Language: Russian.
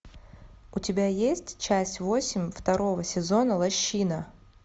у тебя есть часть восемь второго сезона лощина